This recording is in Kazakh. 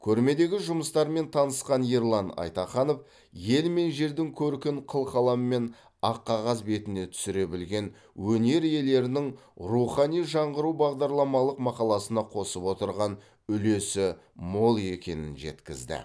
көрмедегі жұмыстармен танысқан ерлан айтаханов ел мен жердің көркін қылқаламмен ақ қағаз бетіне түсіре білген өнер иелерінің рухани жаңғыру бағдарламалық мақаласына қосып отырған үлесі мол екенін жеткізді